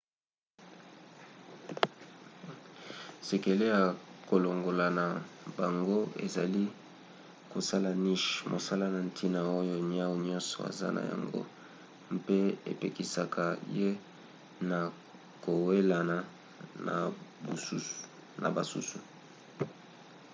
sekele ya kolonga na bango ezali kosala niche mosala ya ntina oyo niau nyonso aza na yango mpe epekisaka ye na kowelana na basusu